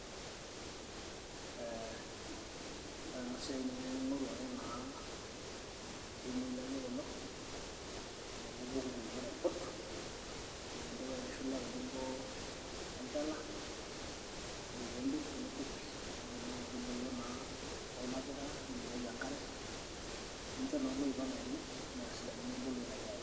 ore ena siai naa ing'oru naake ildimui laaijo kulo nipik ikulupuok aiput idipa aitushula tenebo olchala ,ore pee idip nipik kuna aitubulu nibukoki enkare nicho naa oloip enaa ele nesidanu naa aitobiraki.